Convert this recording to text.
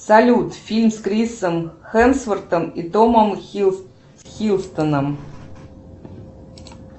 салют фильм с крисом хемсвортом и томом хиддлстоном